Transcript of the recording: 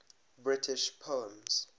british poems